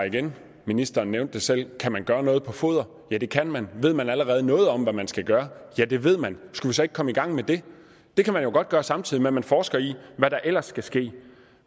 igen ministeren nævnte det selv kan man gøre noget på foderområdet ja det kan man ved man allerede noget om hvad man skal gøre ja det ved man skulle vi så ikke komme i gang med det det kan man jo godt gøre samtidig med at man forsker i hvad der ellers skal ske